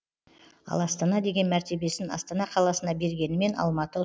ал астана деген мәртебесін астана қаласына бергенімен алматы